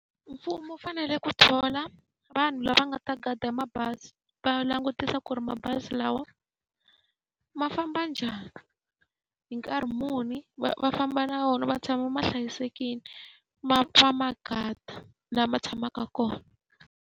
Mfumo wu fanele ku thola vanhu lava nga ta guard-a mabazi, va langutisa ku ri mabazi lawa ma famba njhani, hi nkarhi muni, va va famba na wona ma tshama ma hlayisekile. Ma ma guard-a laha ma tshamaka kona.